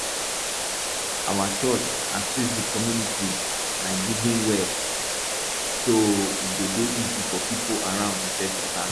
our church assist di community by diggin well so e go dey easy for pipo around to fetch water